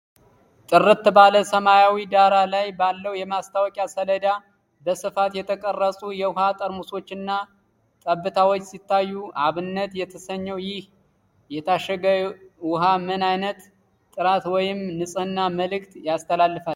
ጥርት ባለ ሰማያዊ ዳራ ላይ ባለው የማስታወቂያ ሰሌዳ፣ በስፋት የተቀረጹ የውሃ ጠርሙሶችና ጠብታዎች ሲታዩ፣ “አብነት” የተሰኘው ይህ የታሸገ ውሃ ምን ዓይነት የጥራት ወይም የንጽህና መልእክት ያስተላልፋል?